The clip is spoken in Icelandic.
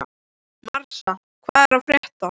Marsa, hvað er að frétta?